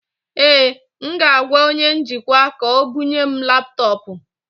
Ee, m ga-agwa onye njikwa ka o bụnye m laptọọpụ